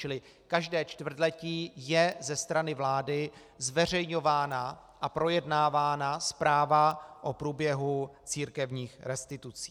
Čili každé čtvrtletí je ze strany vlády zveřejňována a projednávána zpráva o průběhu církevních restitucí.